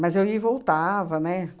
Mas eu ia e voltava, né?